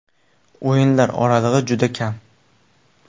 O‘yinlar oralig‘i juda kam.